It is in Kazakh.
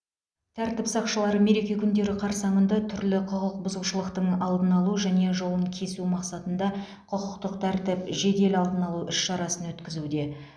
тәртіп сақшылары мереке күндері қарсаңында түрлі құқық бұзушылықтың алдын алу және жолын кесу мақсатында құқықтық тәртіп жедел алдын алу іс шарасын өткізуде